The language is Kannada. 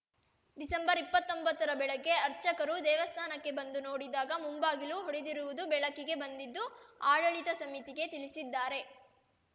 ಡಿಸೆಂಬರ್ ಇಪ್ಪತೊಂಬತ್ತರ ಬೆಳಗ್ಗೆ ಅರ್ಚಕರು ದೇವಸ್ಥಾನಕ್ಕೆ ಬಂದು ನೋಡಿದಾಗ ಮುಂಬಾಗಿಲು ಒಡೆದಿರುವುದು ಬೆಳಕಿಗೆ ಬಂದಿದ್ದು ಆಡಳಿತ ಸಮಿತಿಗೆ ತಿಳಿಸಿದ್ದಾರೆ